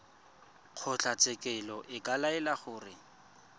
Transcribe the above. kgotlatshekelo e ka laela gore